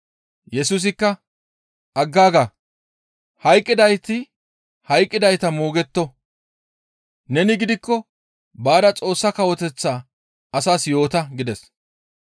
Yesusikka, «Aggaaga, hayqqidayti hayqqidayta moogetto. Neni gidikko baada Xoossa Kawoteththaa asaas yoota» gides.